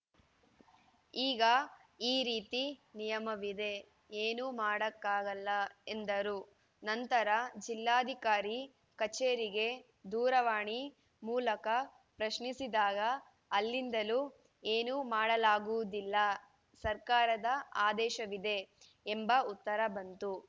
ಈಗ ಈ ರೀತಿ ನಿಯಮವಿದೆ ಏನು ಮಾಡಕ್ಕಾಗಲ್ಲ ಎಂದರು ನಂತರ ಜಿಲ್ಲಾಧಿಕಾರಿ ಕಚೇರಿಗೆ ದೂರವಾಣಿ ಮೂಲಕ ಪ್ರಶ್ನಿಸಿದಾಗ ಅಲ್ಲಿಂದಲೂ ಏನು ಮಾಡಲಾಗುವುದಿಲ್ಲ ಸರ್ಕಾರದ ಆದೇಶವಿದೆ ಎಂಬ ಉತ್ತರ ಬಂತು